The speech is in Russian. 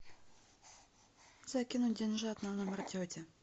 закинуть деньжат на номер тети